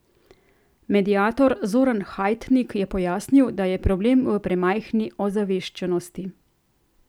Mediator Zoran Hajtnik je pojasnil, da je problem v premajhni ozaveščenosti.